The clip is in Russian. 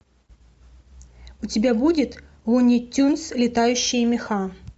у тебя будет луни тюнз летающие меха